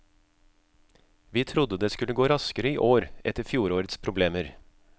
Vi trodde det skulle gå raskere i år etter fjorårets problemer.